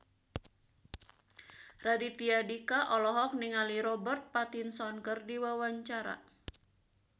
Raditya Dika olohok ningali Robert Pattinson keur diwawancara